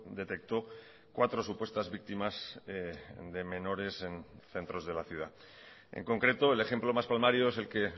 detectó cuatro supuestas víctimas de menores en centros de la ciudad en concreto el ejemplo más palmario es el que